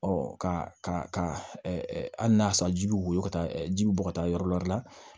ka hali n'a y'a sɔrɔ ji bɛ woyɔ ka taa ji bɛ bɔ ka taa yɔrɔ wɛrɛ la